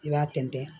I b'a tɛntɛn